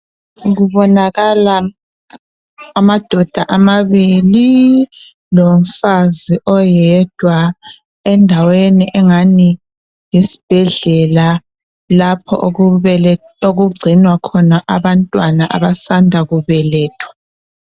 Kubonakala amadoda amabili lomfazi oyedwa endaweni engani yisibhedlela lapho okugcinwa khona abantwana abasanda kubelethwa.